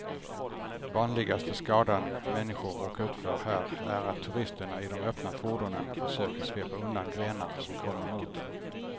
Vanligaste skadan människor råkar ut för här är att turisterna i de öppna fordonen försöker svepa undan grenar som kommer mot dem.